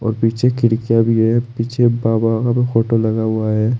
पीछे खिड़कियां भी है पीछे बाबा का भी फोटो लगा हुआ है।